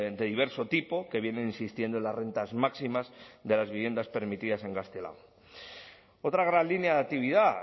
de diverso tipo que vienen insistiendo en las rentas máximas de las viviendas permitidas en gaztelagun otra gran línea de actividad